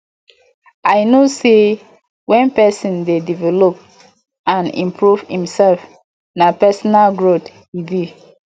i know say when pesin dey develop and improve imself na personal growth e be